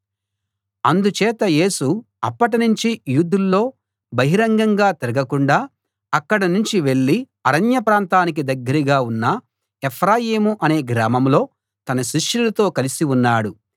అందుచేత యేసు అప్పటినుంచి యూదుల్లో బహిరంగంగా తిరగకుండా అక్కడనుంచి వెళ్ళి అరణ్య ప్రాంతానికి దగ్గరగా ఉన్న ఎఫ్రాయిము అనే గ్రామంలో తన శిష్యులతో కలిసి ఉన్నాడు